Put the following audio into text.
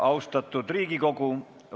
Austatud Riigikogu!